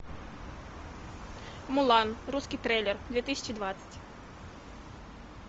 мулан русский трейлер две тысячи двадцать